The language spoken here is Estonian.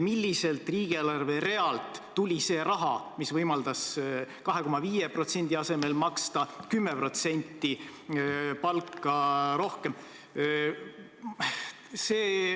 Milliselt riigieelarve realt tuli see raha, mis võimaldas 2,5% asemel maksta 10% palka rohkem?